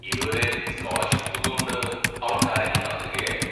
ഇതുവരെ സ്കോളർഷിപ്പ് തുകകൊണ്ട് അവൾ കാര്യങ്ങൾ നടത്തുകയായിരുന്നു.